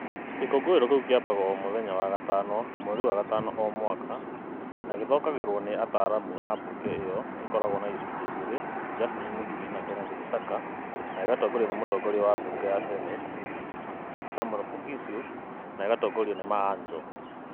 Gĩkũngũĩro kĩu kĩambagwo o mũthenya wa gatano mweri wa gatano o mwaka, na gĩthokagĩrwo nĩ ataaramu a mbunge ĩyo ĩkoragwo na icunjĩ igĩrĩ Justin Muturi na Kenneth Lusaka na gĩgatongorio nĩ mũtongoria wa mbunge ĩyo ya Senate Samuel Poghisio, na gĩgatongorio nĩ Maanzo.